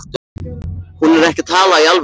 Hún er ekki að tala í alvöru.